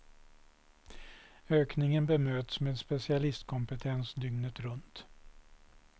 Ökningen bemöts med specialistkompetens dygnet runt.